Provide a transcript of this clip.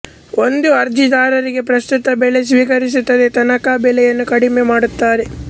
ಒಂದು ಅರ್ಜಿದಾರರಿಗೆ ಪ್ರಸ್ತುತ ಬೆಲೆ ಸ್ವೀಕರಿಸುತ್ತದೆ ತನಕ ಬೆಲೆಯನ್ನು ಕದಿಮ್ಮೆ ಮಾದುತ್ತಾರೆ